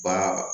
Baara